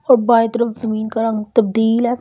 और बाएं तरफ जमीन का रंग तब्दील है।